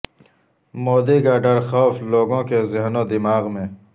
مودی کا ڈرخوف لوگوں کے ذہن و دماغ میں